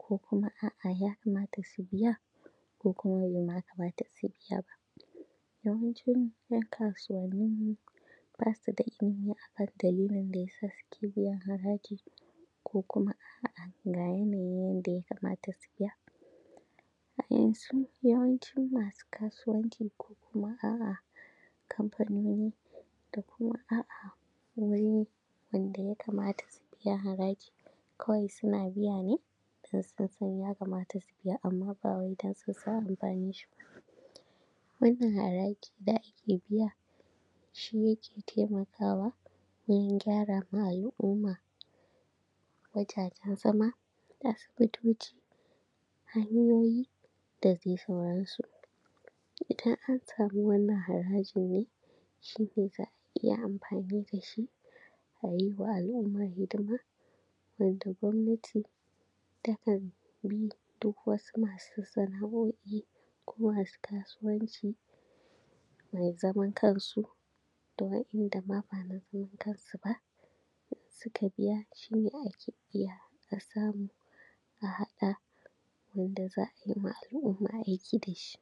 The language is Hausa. ko kuma a’a ya kamata su biya ko kuma be ma kamata su biya ba yawancin ‘yan kasuwanni ba su da ilimi a kan dalilin da ya sa suke biyan haraji ko kuma a’a ga yanayin yanda ya kamata su biya, a yanzu yawancin masu kasuwanci ko kuma a’a kamfanoni da kuma a’a wani wanda ya kamata su biya haraji kawai suna biya ne dan sun san ya kamata su biya amma ba wai dan sun san amfanin shi ba wannan haraji da ake biya shi yake temakawa wurin gyara ma al’umma wajajen zama, asibitoci, hanyoyi da dai sauran su Idan an samu wannan harajin ne shi ne za a iya amfani da shi a yi wa al’umma hidima wanda gwamnati takan bi duk wasu masu sana’o’i ko masu kasuwanci mai zaman kansu da wa’inda ma ba na zaman kansu ba, in suka biya shi ne ake iya a samu a haɗa wanda za a yi ma al’umma aiki da shi.